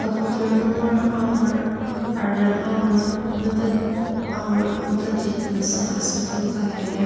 nunger angur arem angur meper angur mepetji temesüng aser blue colour lir.